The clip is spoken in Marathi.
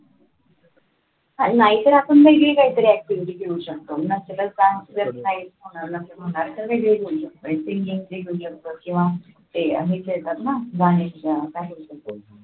हा नाहीतरी आपण वेगळी काहीतरी activity घेऊ शकतो किंवा ते हे खेळतात ना